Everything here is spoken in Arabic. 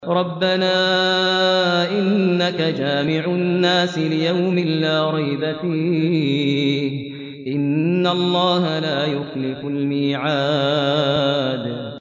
رَبَّنَا إِنَّكَ جَامِعُ النَّاسِ لِيَوْمٍ لَّا رَيْبَ فِيهِ ۚ إِنَّ اللَّهَ لَا يُخْلِفُ الْمِيعَادَ